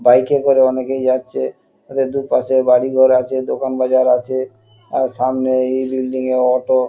Bike -এ করে অনেকেই যাচ্ছে এদের দুপাশে বাড়িঘর আছে দোকানবাজার আছে আর সামনে এই বিল্ডিং -এ অটো ।